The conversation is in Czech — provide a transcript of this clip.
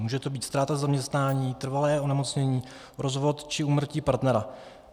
Může to být ztráta zaměstnání, trvalé onemocnění, rozvod či úmrtí partnera.